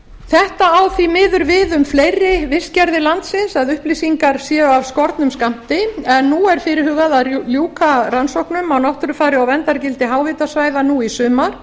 þetta á því miður við um fleiri virkjanir landsins að upplýsingar séu af skornum skammti en nú er fyrirhugað að ljúka rannsóknum á náttúrufari og verndargildi háhitasvæða nú í sumar